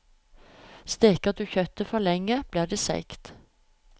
Steker du kjøttet for lenge, blir det seigt.